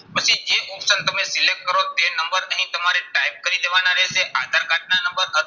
પછી જે option તમે select કરો તે નંબર એણે તમારે type કરી દેવાના રહેશે. આધાર કાર્ડના નંબર